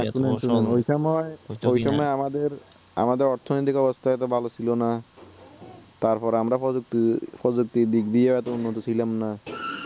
আমাদের অর্থ নীতিক অবস্থা হয়তো ভালো ছিল না তারপর আমরা প্রযুক্তি প্রযুক্তির দিক থেকেও হয়তো উন্নতি ছিলাম না